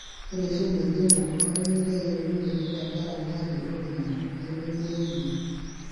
Ore eishoi naidimu olameyu keyeuni oleng tenkaraki hali oloingange nemeibonunoyu.